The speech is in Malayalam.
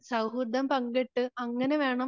സൗഹൃദം പങ്കിട്ട് അങ്ങനെ വേണം